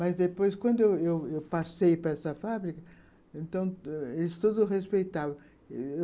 Mas, depois, quando eu eu eu passei para essa fábrica, eles todos respeitavam.